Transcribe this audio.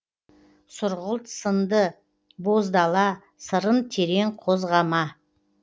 сұрғылт сынды боз дала сырын терең қозғама